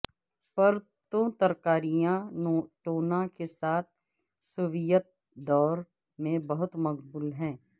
پرتوں ترکاریاں ٹونا کے ساتھ سوویت دور میں بہت مقبول تھا